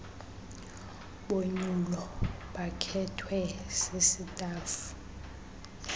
bonyulo bakhethwe sisitafu